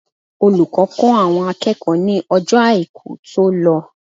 Olùkọ́ kọ́ àwọn akẹ́kọ̀ọ́ ní Ọjọ́ Àìkú tó lọ.